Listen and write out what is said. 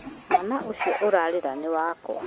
Mwana ũcio ũrarĩra nĩ wakwa